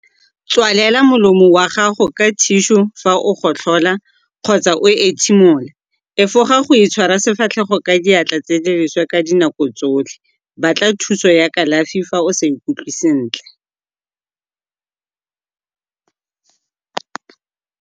Tswalela molomo wa gago ka thišu fa o gotlhola kgotsa o ethimola. Efoga go itshwara sefatlhego ka diatla tse di leswe ka nako tsotlhe. Batla thuso ya kalafi fa o sa ikutlwe sentle.